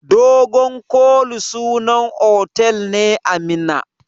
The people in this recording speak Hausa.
Dogon koli sunan otal ne a Minna.